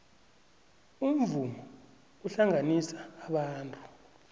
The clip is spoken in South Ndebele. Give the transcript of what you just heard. umvumo uhlanganisa abantu